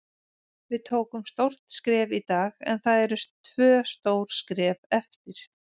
Við tókum stórt skref í dag en það eru tvö stór skref eftir.